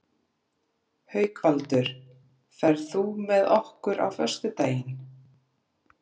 Haukvaldur, ferð þú með okkur á föstudaginn?